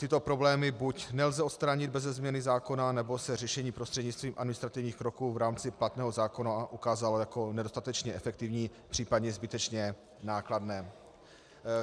Tyto problémy buď nelze odstranit beze změny zákona, nebo se řešení prostřednictvím administrativních kroků v rámci platného zákona ukázalo jako nedostatečně efektivní příp. zbytečně nákladné.